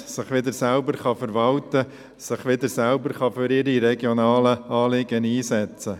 es kann sich wieder selbst verwalten und sich für seine regionalen Anliegen einsetzen.